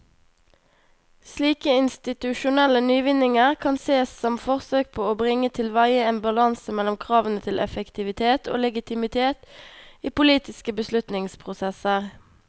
Slike institusjonelle nyvinninger kan sees som forsøk på å bringe tilveie en balanse mellom kravene til effektivitet og legitimitet i politiske beslutningsprosesser.